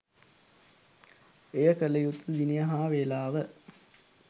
එය කළ යුතු දිනය හා වේලාව